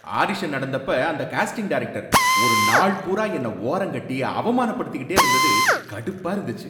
Audition நடந்தப்ப அந்த casting director ஒரு நாள் பூரா என்ன ஓரங்கட்டி அவமானப்படுத்திகிட்டே இருந்தது கடுப்பா இருந்துச்சு.